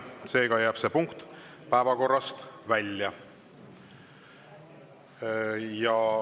Seega jääb see punkt päevakorrast välja.